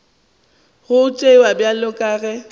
go tšewa bjalo ka ge